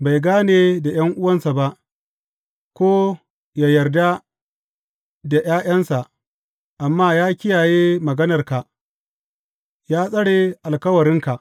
Bai gane da ’yan’uwansa ba, ko yă yarda da ’ya’yansa, amma ya kiyaye maganarka ya tsare alkawarinka.